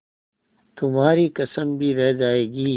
तुम्हारी कसम भी रह जाएगी